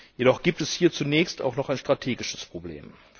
Jedoch gibt es hier zunächst auch noch ein strategisches Problem.